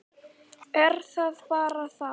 Er það bara þar?